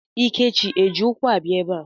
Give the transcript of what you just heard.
Ikechi eji ụkwụ abịa ebe a?